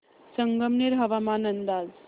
संगमनेर हवामान अंदाज